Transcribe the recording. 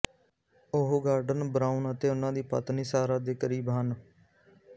ਉਹ Gordon Brown ਅਤੇ ਉਨ੍ਹਾਂ ਦੀ ਪਤਨੀ ਸਾਰਾ ਦੇ ਕਰੀਬੀ ਹਨ